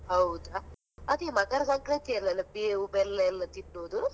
ಹೌದಾ ಅದೇ ಮತ್ತೆ ಮಕರ ಸಂಕ್ರಾಂತಿಯಲ್ಲೆಲ್ಲ ಬೇವು ಬೆಲ್ಲ ಎಲ್ಲಾ ತಿನ್ನೋದು?